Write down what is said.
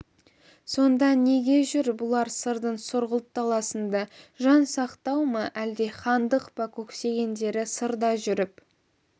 сонда неге жүр бұлар сырдың сұрғылт даласында жан сақтау ма әлде хандық па көксегендері сырда жүріп